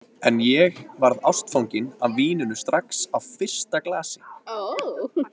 En ég varð ástfangin af víninu strax á fyrsta glasi.